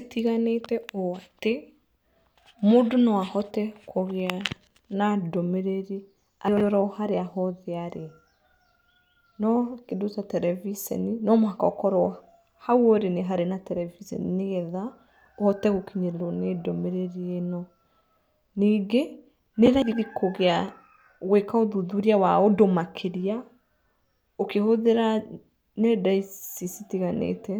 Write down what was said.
Itiganĩte ũũ atĩ mũndũ noahote kũgĩa na ndũmĩrĩi arĩ oharĩa hothe arĩ . No kĩndũ ta terebiceni nomũhaka ũkorwo hau ũrĩ nĩharĩ na terebeceni nĩgetha ũhote gũkinyĩrwo nĩndũmĩrĩri ĩno . Ningĩ nĩraithi gũĩka ũthuthuria wa ũndũ makĩria ũkĩhũthĩra nenda ici citiganĩte.